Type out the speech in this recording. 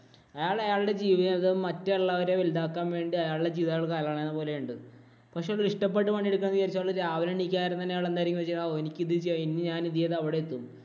അയാള്‍ അയാളുടെ ജീവിതം മറ്റുള്ളവരെ വലുതാക്കാന്‍ വേണ്ടി അയാളുടെ ജീവിതം അയാള് കളയണത് പോലെയുണ്ട്. പക്ഷേ അത് ഇഷ്ടപ്പെട്ടു പണിയെടുക്കുകയാണെന്നു വിചാരിച്ചാൽ അയാൾ രാവിലെ എണീക്കുകയാണെങ്കിൽ അയാൾ എന്തായിരിക്കും ചിന്തിക്കുക? ഓ, എനിക്ക് ഇത് ചെയ്യണം. ഇന്നു ഞാൻ ഇത് ചെയ്ത് അവിടെയെത്തും.